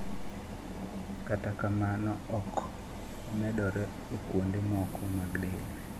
kata kamano ok omedore e kuonde moko mag del